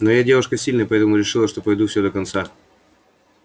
но я девушка сильная поэтому решила что пройду всё до конца